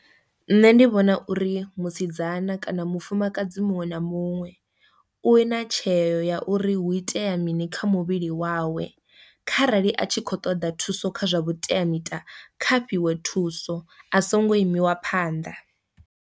Nṋe ndi vhona uri musidzana kana mufumakadzi muṅwe na muṅwe u na tsheo ya uri hu itea mini kha muvhili wawe kharali a tshi khou ṱoḓa thuso kha zwa vhuteamiṱa kha fhiwe thuso a songo imiwa phanḓa.